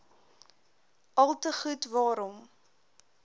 alte goed waarom